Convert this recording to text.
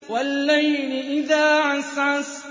وَاللَّيْلِ إِذَا عَسْعَسَ